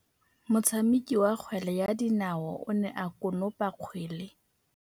Motshameki wa kgwele ya dinaô o ne a konopa kgwele.